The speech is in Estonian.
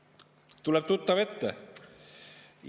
Kas tuleb tuttav ette?